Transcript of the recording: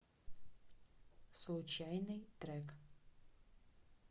случайный трек